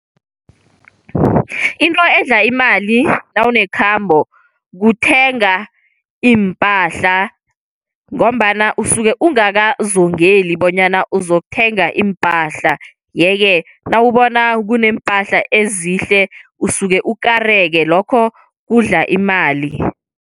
Into edla imali nawunekhamba, kuthenga iimpahla ngombana usuke ungakazungeli bonyana uzokuthenga iimpahla. Yeke nawubona kunempahla ezihle usuke ukukareka lokho kudla imali.